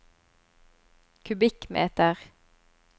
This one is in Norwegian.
kubikkmeter